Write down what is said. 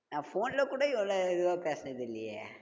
நான் phone ல கூட இவ்ளோ இதுவா பேசுனதில்லையே